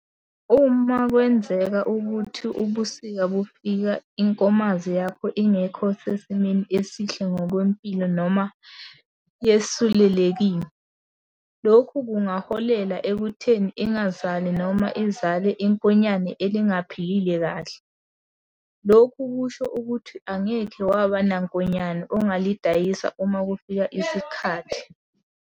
Uma kwenzeka ukuthi ubusika bufika inkomazi yakho ingekho sesimeni esihle ngokwempilo noma yesulelekile, lokhu kungaholela ekutheni ingazali noma izale inkonyane elingaphilile kahle. Lokhu kusho ukuthi angeke waba nankonyane ongalidayisa uma kufika isikhathi.